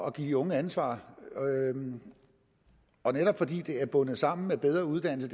at give de unge ansvar og netop fordi det er bundet sammen med bedre uddannelse